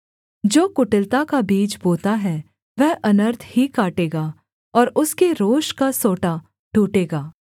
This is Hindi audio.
जो कुटिलता का बीज बोता है वह अनर्थ ही काटेगा और उसके रोष का सोंटा टूटेगा